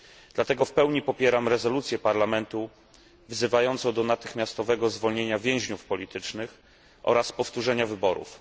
Dlatego w pełni popieram rezolucję Parlamentu wzywającą do natychmiastowego uwolnienia więźniów politycznych oraz powtórzenia wyborów.